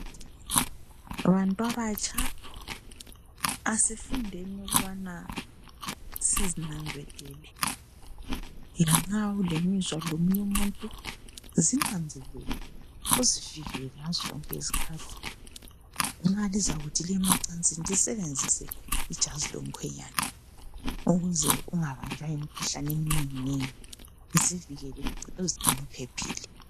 Bantwabatsha asifundeni ukubana sizinanzelele. Lanxa ulemizwa lomunye umuntu zinanzelele uzifikele ngazo zonke izikhathi malizakuthi liye macansini lisebenzise ijazi lomkhwenyana ukuze ungabanjwa yimikhuhlane eminenginengi zivikele uzigcine uphephile.